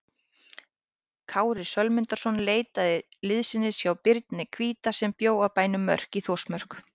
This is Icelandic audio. Kári Sölmundarson leitaði liðsinnis hjá Birni hvíta sem bjó á bænum Mörk í Þórsmörk.